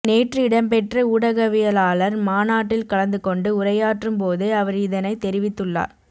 நேற்று இடம்பெற்ற ஊடகவியலாளர் மாநாட்டில் கலந்து கொண்டு உரையாற்றும் போதே அவர் இதனைத் தெரிவித்துள்ளார்